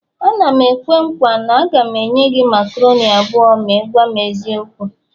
A na m-ekwe nkwa, a ga m enye gị macaroni abụọ ma ị gwam eziokwu